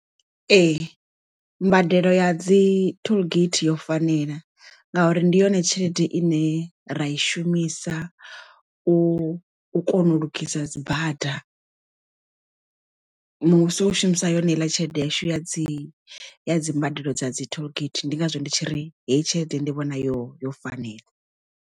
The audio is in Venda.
Ee mbadelo ya dzi tollgate yo fanela ngauri ndi yone tshelede ine ra i shumisa u kona u lugisa dzi bada muvhuso u shumisa yone heiḽa tshelede yashu ya dzi ya dzi mbadelo dza dzi tollgate ndi ngazwo ndi tshi ri heyi tshelede ndi vhona yo yo fanela.